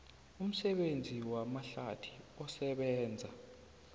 umsebenzi wamahlathi osebenza